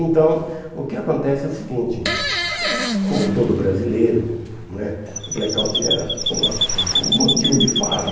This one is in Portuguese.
Então, o que acontece é o seguinte, como todo brasileiro né, o blackout era uma um um motivo de farra.